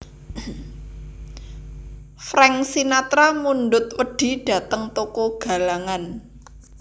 Frank Sinatra mundhut wedhi dhateng toko galangan